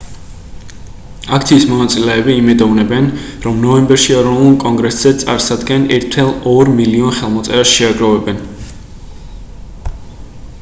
აქციის მონაწილეები იმედოვნებენ რომ ნოემბერში ეროვნულ კონგრესზე წარსადენ 1,2 მილიონ ხელმოწერას შეაგროვებენ